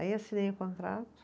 Aí assinei o contrato.